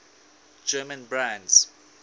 german brands